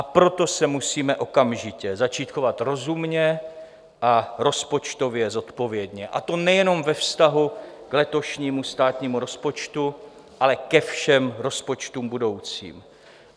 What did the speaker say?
A proto se musíme okamžitě začít chovat rozumně a rozpočtově zodpovědně, a to nejenom ve vztahu k letošnímu státnímu rozpočtu, ale ke všem rozpočtům budoucím.